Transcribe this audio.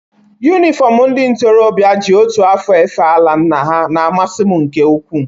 Yunifọmụ ndị ntorobịa ji otu afọ efe ala nna ha na-amasị m nke ukwu.